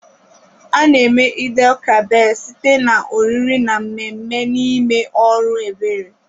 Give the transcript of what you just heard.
A-na eme Eid-el-Kabir site na oriri na mmemme na ime ọrụ ebere.